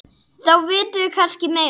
Þá vitum við kannski meira.